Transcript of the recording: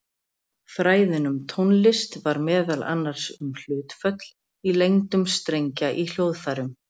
Fræðin um tónlist var meðal annars um hlutföll í lengdum strengja í hljóðfærum.